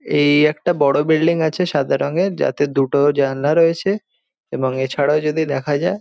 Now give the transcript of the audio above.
এই একটি বড় বিল্ডিং আছে সাদা রঙের যাতে দুটো জানলা রয়েছে এবং এছাড়া যদি দেখা যায়--